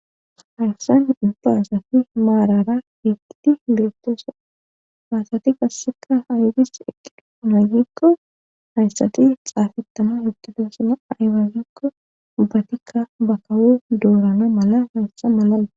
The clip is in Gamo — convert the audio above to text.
Hayssan dubbaasati maarara heqiti liretosa haysati kasseka haygis eqqiduumaagikko hayssati xaafittama huttudesina aywagikko ubbatikka bakawo doorana mala hayssa malal.